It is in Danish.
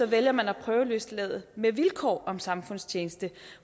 vælger man at prøveløslade med vilkår om samfundstjeneste